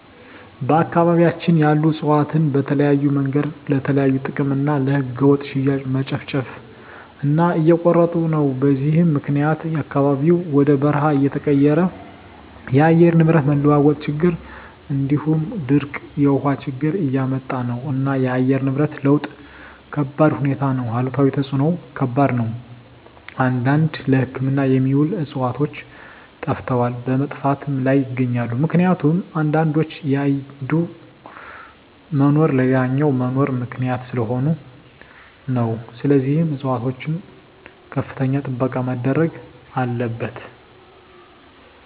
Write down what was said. በአካባቢያቸን ያሉ እፅዋትን በተለያዮ መንገድ ለተለያዩ ጥቅም እና ለህገወጥ ሽያጭ መጨፍጨፉ እና እየተቆረጡ ነው በዚህም ምክኒያት አካባቢው ወደ በርሃ እየተቀየረ የአየር ንብረት መለዋወጥ ችግር እንዲሁም ድርቅ የውሀ ችግር እያመጣ ነው እና የአየር ንብረት ለውጥ ከባድሁኔታ ነው አሉታዊ ተፅዕኖው ከባድ ነው አንዳንድ ለህክምና የሚውሉ ዕፅዋቶች ጠፈተዋል በመጥፋት ላይም ይገኛሉ ምክኒቱም አንዳንዶች የአንዱ መኖር ለሌላኛው መኖር ምክኒያት ሰለሆኑ ነው ስለዚህም ፅፅዋቶች ከፍተኛ ጥበቃ መደረግ አለበት።